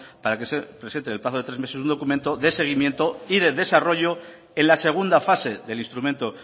para que se presente en el plazo de tres meses un documento de seguimiento y de desarrollo en la segunda fase del instrumento